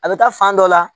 A bɛ taa fan dɔ la